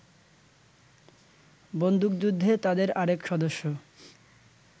বন্দুকযুদ্ধে তাদের আরেক সদস্য